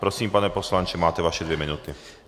Prosím, pane poslanče, máte vaše dvě minuty.